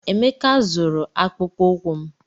Emeka zụrụ akpụkpọ ụkwụ m.